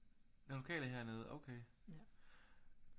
Den lokale hernede okay